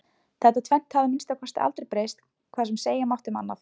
Þetta tvennt hafði að minnsta kosti aldrei breyst hvað sem segja mátti um annað.